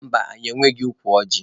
Mba, anyị enweghị ukwu ọjị.